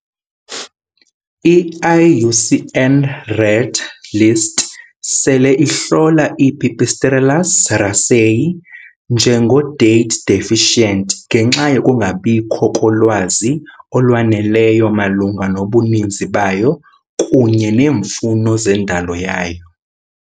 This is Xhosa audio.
I - IUCN Red Uluhlu sele ihlola "Pipistrellus raceyi" njengoko "Data Deficient" ngenxa yokungabikho kolwazi olwaneleyo malunga nobuninzi bayo kunye neemfuno zendalo yayo.